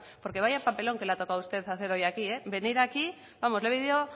porque vaya papelón que le ha tocado a usted hacer hoy aquí venir aquí vamos le han debido